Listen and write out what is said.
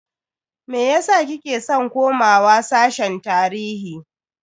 Meyasa kike san komawa sashen tarihi?